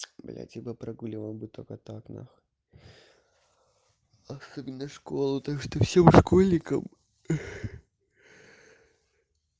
блять я бы прогуливал бы только так нахуй особенно школу так что всем школьникам